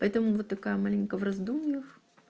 поэтому вот такая маленько в раздумьях